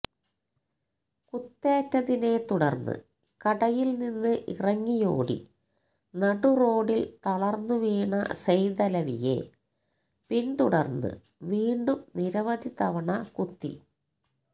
കുത്തേറ്റതിനെ തുടര്ന്ന് കടയില് നിന്ന് ഇറങ്ങിയോടി നടു റോഡില് തളര്ന്നു വീണ സെയ്തലവിയെ പിന്തുടര്ന്ന് വീണ്ടും നിരവധി തവണ കുത്തി